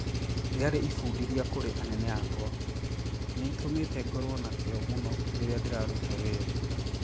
Riari ifudithia kuri anene akwa...niitumite ngorwo na kio munu riria ndiraruta wira.